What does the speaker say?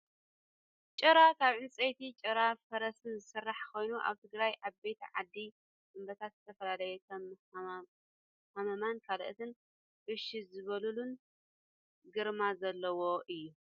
ጭራ ካብ ዕንፀይትን ጭራ ፈረስን ዝስራሕ ኮይኑ ኣብ ትግራይ ዓበይቲ ዓዲ ኣቦታት ንዝተፈላለዩ ከም ሃመማን ካልኦትን እሽ ዝብሉሉን ግርማ ዘለዎ እዩ።